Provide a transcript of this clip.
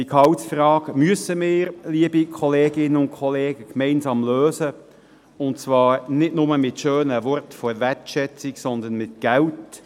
Die Gehaltsfrage müssen wir, liebe Kolleginnen und Kollegen, gemeinsam lösen, und zwar nicht nur mit schönen Worten der Wertschätzung, sondern mit Geld.